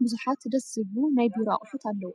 ቡዙሓት ደስ ዝብሉ ናይ ቢሮ አቁሑት አለው፡፡